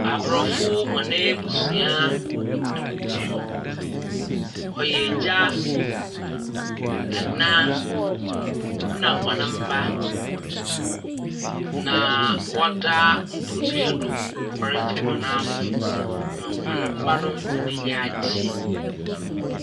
Aborɔfo na hɔn ebusua. Ↄyɛ egya, ɛna na ɔn mma na wɔda mpadua do wɔredze hɔn ahom ma hɔn mma no hɔn enyin agyew.